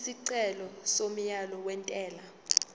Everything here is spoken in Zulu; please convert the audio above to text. isicelo somyalo wentela